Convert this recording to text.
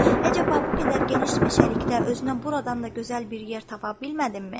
Əcaba, bu qədər geniş meşəlikdə özünə buradan da gözəl bir yer tapa bilmədinmi?